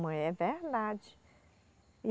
é verdade.